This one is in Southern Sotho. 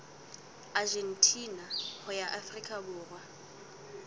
argentina ho ya afrika borwa